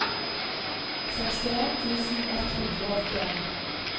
sekstien tusen ett hundre og åttien